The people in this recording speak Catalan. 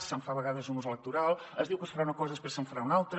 se’n fa a vegades un ús electoral es diu que es farà una cosa i després se’n fa una altra